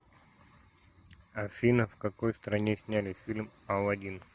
афина в какой стране сняли фильм алладин